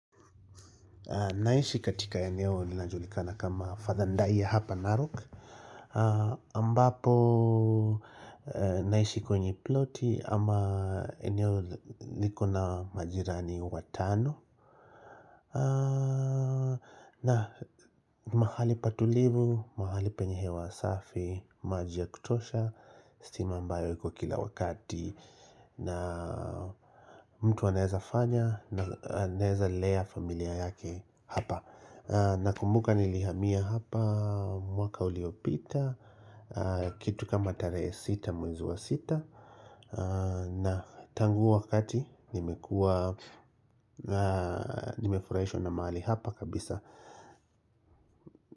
Naishi katika eneo linajulikana kama Fathandaia hapa Narok ambapo naishi kwenye ploti ama eneo liko na majirani watano ni mahali patulivu, mahali penye hewa safi, maji ya kutosha, steam ambayo iko kila wakati na mtu anaeza fanya na anaweza lea familia yake hapa Nakumbuka nilihamia hapa mwaka uliopita Kitu kama tarehe sita mwezi wa sita na tangu huo wakati nimefurahishwa na mahali hapa kabisa.